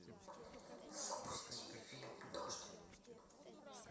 запусти фильм дождь